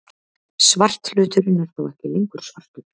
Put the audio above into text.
Svarthluturinn er þá ekki lengur svartur!